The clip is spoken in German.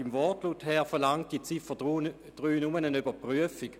Im Wortlaut verlangt die Ziffer 3 nur eine Überprüfung.